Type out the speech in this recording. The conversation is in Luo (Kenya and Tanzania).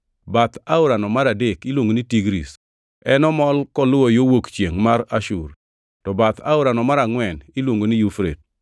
Bath aorano mar adek iluongo ni Tigris; en omol koluwo yo wuok chiengʼ mar Ashur. To bath aorano mar angʼwen iluongo ni Yufrate.